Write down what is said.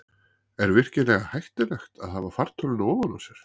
er virkilega hættulegt að hafa fartölvuna ofan á sér